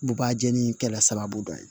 Bubajalii kɛla sababu dɔ ye